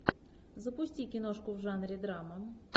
запусти киношку в жанре драма